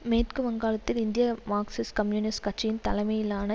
மேற்கு வங்காளத்தில் இந்திய மார்க்சிஸ்ட் கம்யூனிஸ்ட் கட்சியின் தலைமையிலான